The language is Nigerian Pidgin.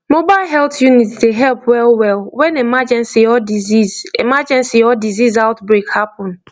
mobile health unit dey help wellwell when emergency or disease emergency or disease outbreak happen